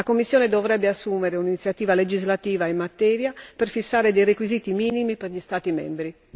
La Commissione dovrebbe presentare un'iniziativa legislativa in materia per fissare alcuni requisiti minimi per gli Stati membri.